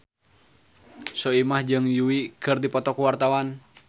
Soimah jeung Yui keur dipoto ku wartawan